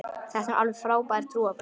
Þetta eru nú alveg frábær trúarbrögð.